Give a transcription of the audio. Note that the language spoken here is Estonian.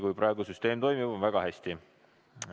Kui praegu süsteem toimib, on väga hästi.